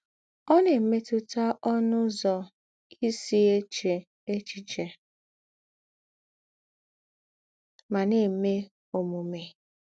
Ó na - èmétụ̀tà ǒnụ̀ ụzọ̀ ì sì èchē èchíchè mà na - èmè ǒmùmè.